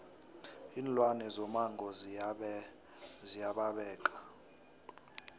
iinlwane zomango ziya babeka